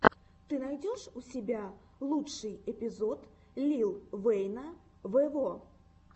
ты найдешь у себя лучший эпизод лил вэйна вево